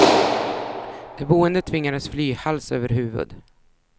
De boende tvingades fly hals över huvud.